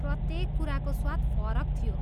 प्रत्येक कुराको स्वाद फरक थियो।